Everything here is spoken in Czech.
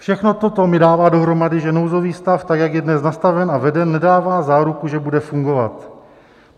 Všechno toto mi dává dohromady, že nouzový stav, tak jak je dnes nastaven a veden, nedává záruku, že bude fungovat.